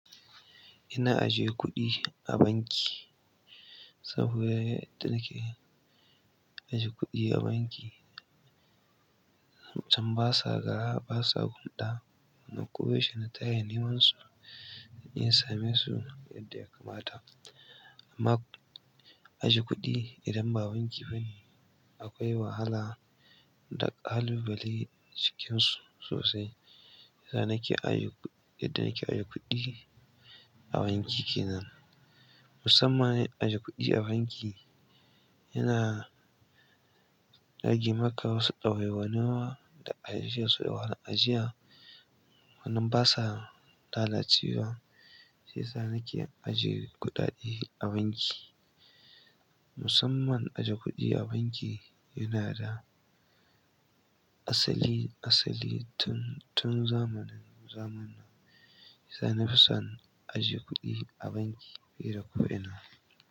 Ina ajiye kuɗi a banki, saboda yadda nake ajiye kuɗi a banki, a can basa gara basa gumɗa. Kuma ko yaushe na tashi neman su, in same su yadda ya kamata. Amma ajiye kuɗi idan ba banki bane akwai wahala da ƙalubale cikinsu sosai. Shiyasa nake ajiye kuɗi, yadda nake ajiye kuɗi a banki kenan. Musamman ajiye kuɗi a banki yana rage maka wasu ɗawaiwanuwa da ajiyarsu da wahal ajiya. Anan basa lalacewa, shiyasa nake ajiye kuɗaɗe a banki. Musamman ajiye kuɗi a banki yana da asali, asali tun, tun zamanin zamana. Shiyasa nafi son ajiye kuɗi a banki, fiye da ko'ina.